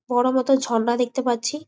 বড়ো মতো ঝর্ণা দেখতে পাচ্ছি।